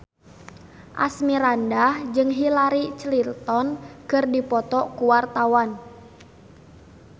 Asmirandah jeung Hillary Clinton keur dipoto ku wartawan